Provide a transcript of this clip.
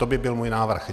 To by byl můj návrh.